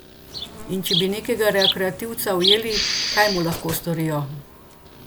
In če bi nekega rekreativca ujeli, kaj mu lahko storijo?